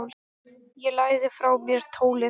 Ég lagði frá mér tólið.